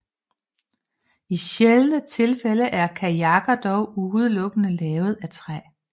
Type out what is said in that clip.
I sjældne tilfælde er kajakken dog udelukkende lavet af træ